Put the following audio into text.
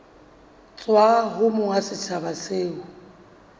tswa ho monga setsha seo